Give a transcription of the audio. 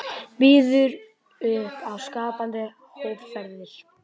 Býður upp á skapandi hópferðir